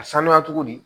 A sanuya cogo di